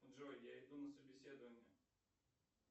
джой я иду на собеседование